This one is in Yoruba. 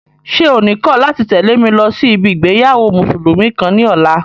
Ṣé o ní kọ̀ láti tẹ̀lé mi lọ sí ibi ìgbéyàwó mùsùlùmí kan ní ọ̀la?